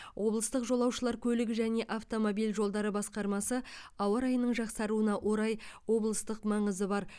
облыстық жолаушылар көлігі және автомобиль жолдары басқармасы ауа райының жақсаруына орай облыстық маңызы бар